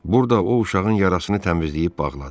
Burda o, uşağın yarasını təmizləyib bağladı.